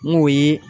N k'o ye